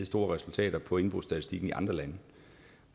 store resultater på indbrudsstatistikken i andre lande